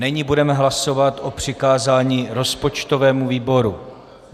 Není budeme hlasovat o přikázání rozpočtovému výboru.